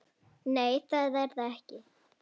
Nei, það er það ekki.